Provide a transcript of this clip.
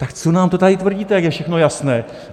Tak co nám to tady tvrdíte, jak je všechno jasné?